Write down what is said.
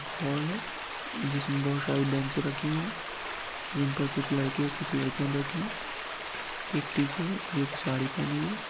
hall है जिस बहुत सारी बेंच रखी हुई जिन पर कुछ लड़के कुछ लड़कियां बैठी है एक टीचर जो की साड़ी पहनी हुई --